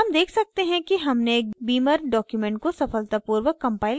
हम देख सकते हैं कि हमने एक beamer document को सफलतापूर्वक compiled कर लिया है